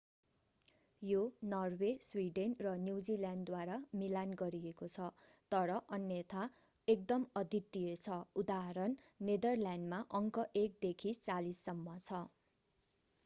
यो Norway Sweden र न्यूजील्यान्डद्वारा मिलान गरिएको छ तर अन्यथा एकदम अद्वितीय छ उदाहरण नेदरल्यान्डमा अङ्क एक देखि चालीससम्म छ।